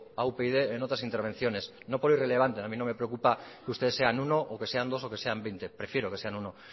a upyd en otras intervenciones no por ir relegando a mí no me preocupa que ustedes sean uno o que sean dos o que sean veinte prefiero que sean uno